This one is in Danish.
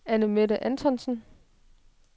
Annemette Antonsen